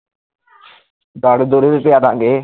ਦਾਰੂ ਦੂਰੀ ਵੀ ਪਿਆਦਾਂਗੇ